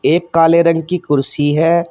एक काले रंग की कुर्सी है।